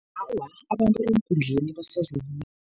Awa, abantu eenkundleni basazokuya.